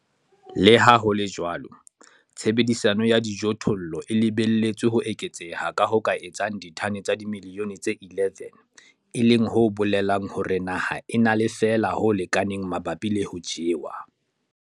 Le ha ho le jwalo, tshebediso ya dijothollo e lebelletswe ho eketseha ka ho ka etsang ditone tsa dimilione tse 11, e leng ho bolelang hore naha e na le feela ho lekaneng mabapi le ho jewa.